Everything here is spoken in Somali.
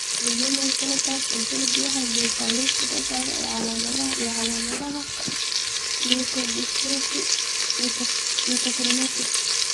The Human Phenotype Ontology waxay bixisaa liiska soo socda ee calaamadaha iyo calaamadaha leukodystrophy Metachromatic.